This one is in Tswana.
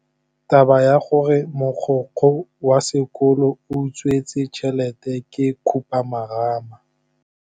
Taba ya gore mogokgo wa sekolo o utswitse tšhelete ke khupamarama.